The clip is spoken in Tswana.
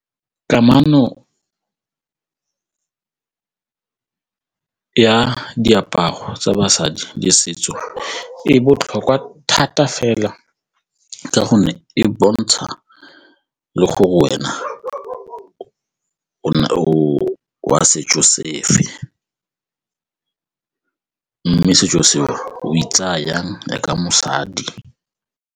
Kamano ya diaparo tsa basadi le setso e botlhokwa thata fela ka gonne e bontsha le gore wena o ne o wa setso sefe mme setso se o e tsaya jang jaaka mosadi.